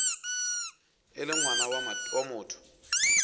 e le ngwana wa motho